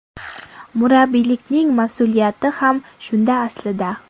Murabbiylikning mas’uliyati ham shunda aslida.